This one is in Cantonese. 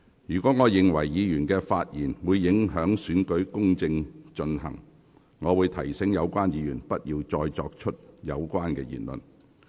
如我認為議員的發言會影響行政長官選舉公正進行，我會提醒有關議員不要作有關言論。